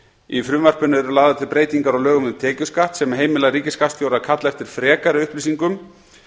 í frumvarpinu eru lagðar til breytingar á lögum um tekjuskatt sem heimila ríkisskattstjóra að kalla eftir frekari upplýsingum